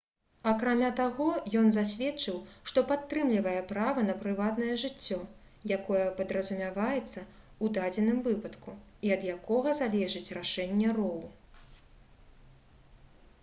акрамя таго ён засведчыў што падтрымлівае права на прыватнае жыццё якое падразумяваецца ў дадзеным выпадку і ад якога залежыць рашэнне роу